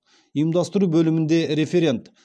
ұйымдастыру бөлімінде референт